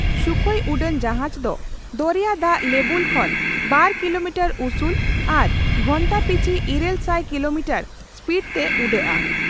ᱥᱩᱠᱷᱚᱭ ᱩᱰᱟᱹᱱ ᱡᱟᱦᱟᱡᱽ ᱫᱚ ᱫᱚᱨᱮᱭᱟ ᱫᱟᱜ ᱞᱮᱵᱩᱞ ᱠᱷᱚᱱ ᱵᱟᱨ ᱠᱤᱞᱚᱢᱤᱴᱟᱨ ᱩᱥᱩᱞ ᱟᱨ ᱜᱷᱚᱱᱴᱟ ᱯᱤᱪᱷ ᱤᱨᱟᱹᱞ ᱥᱟᱭ ᱠᱤᱞᱚᱢᱤᱴᱟᱨ ᱥᱯᱤᱰ ᱛᱮ ᱩᱰᱟᱹᱣᱚᱜᱼᱟ ᱾